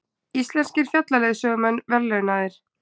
Íslenskir fjallaleiðsögumenn verðlaunaðir